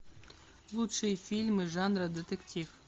лучшие фильмы жанра детектив